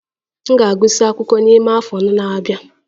M ga-agụsị akwụkwọ n'ime afọ anọ na-abia